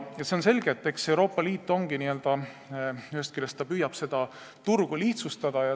See on selge, et eks Euroopa Liit ühest küljest püüab seda turgu lihtsustada.